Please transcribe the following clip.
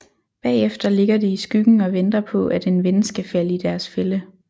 Bagefter ligger de i skyggen og venter på at en ven skal falde i deres fælde